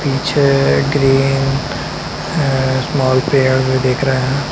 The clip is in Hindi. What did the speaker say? पीछे ग्रीन स्मॉल पेड़ भी दिख रहे है।